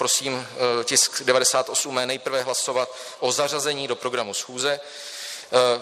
Prosím tisk 98 nejprve hlasovat o zařazení do programu schůze.